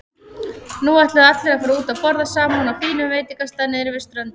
Nú ætluðu allir að fara út að borða saman á fínum veitingastað niðri við ströndina.